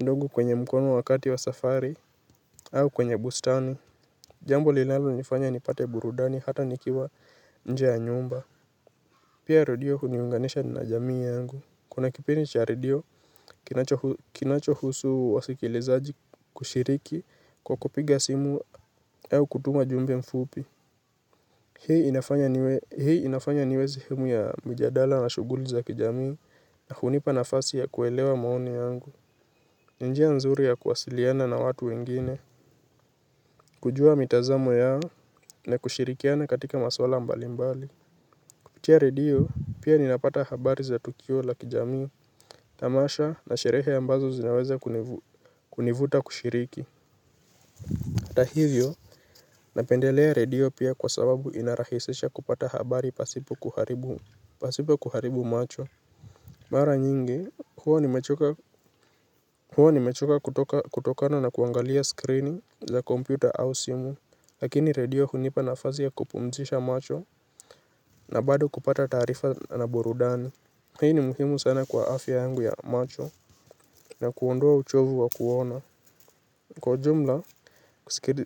ndogo kwenye mkono wakati wa safari au kwenye bustani. Jambo linalo nifanya nipate burudani hata nikiwa nje ya nyumba. Pia radio huniunganisha na jamii yangu. Kuna kipindi cha radio, kinacho husu wasikilizaji kushiriki kwa kupiga simu au kutuma jumbe mfupi. Hii inafanya niwezi himu ya mjadala na shuguli za kijami na hunipa nafasi ya kuelewa maoni yangu. Ninjia nzuri ya kuwasiliana na watu wengine. Kujua mitazamo yao na kushirikiana katika maswala mbali mbali kupitia redio pia ninapata habari za tukio la kijamii. Tamasha na sherehe ambazo zinaweza kunivuta kushiriki atahivyo napendelea redio pia kwa sababu inarahisisha kupata habari pasipo kuharibu pasipa kuharibu macho Mara nyingi, huwa ni mechoka kutokana na kuangalia screening za kompyuta au simu. Lakini redio hunipa nafazi ya kupumtisha macho. Na bado kupata tarifa na burudani. Hii ni muhimu sana kwa afya yangu ya macho. Na kuondaa uchovu wa kuona kwa jumla,